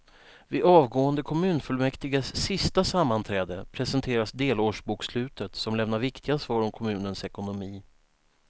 Vid avgående kommunfullmäktiges sista sammanträde presenteras delårsbokslutet som lämnar viktiga svar om kommunens ekonomi.